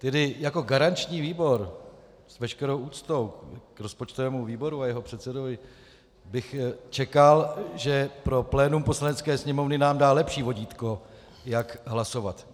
Tedy jako garanční výbor, s veškerou úctou k rozpočtovému výboru a jeho předsedovi, bych čekal, že pro plénum Poslanecké sněmovny nám dá lepší vodítko, jak hlasovat.